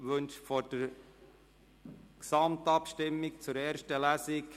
Wünscht jemand das Wort vor der Gesamtabstimmung zur ersten Lesung?